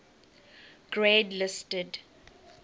grade listed